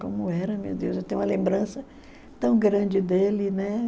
Como era, meu Deus, eu tenho uma lembrança tão grande dele, né?